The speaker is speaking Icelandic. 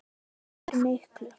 Hann skiptir miklu.